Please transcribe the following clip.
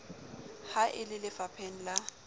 ha e le lefapheng la